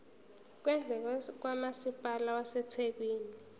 kwendle kamasipala wasethekwini